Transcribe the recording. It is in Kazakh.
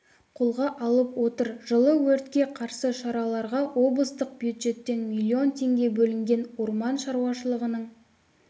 қолға алып отыр жылы өртке қарсы шараларға облыстық бюджеттен миллион теңге бөлінген орман шаруашылығының